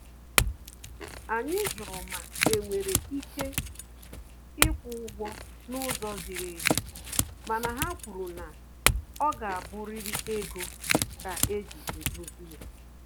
Anyị jụrụ ma enwere ike ikwu ụgwọ na ụzọ ziri ezi, mana ha kwuru na ọ ga abụriri ego ka eji edozi ya